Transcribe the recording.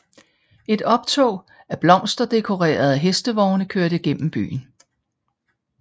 Et optog af blomsterdekorerede hestevogne kører gennem byen